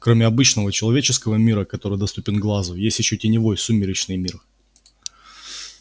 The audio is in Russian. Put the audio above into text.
кроме обычного человеческого мира который доступен глазу есть ещё теневой сумеречный мир